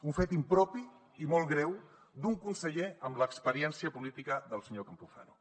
un fet impropi i molt greu d’un conseller amb l’experiència política del senyor campuzano